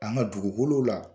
An ka dugukolo la